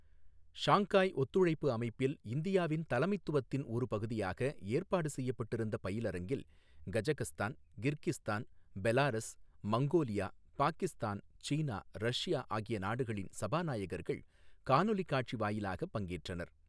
Shanghai ஒத்துழைப்பு அமைப்பில் இந்தியாவின் தலைமைத்துவத்தின் ஒரு பகுதியாக ஏற்பாடு செய்யப்பட்டிருந்த பயிலரங்கில் Kazakhstan, Kyrgyzstan, Belarus, Mongolia, Pakistan, China, Russia ஆகிய நாடுகளின் சபாநாயகர்கள் காணொலி காட்சி வாயிலாக பங்கேற்றனர்.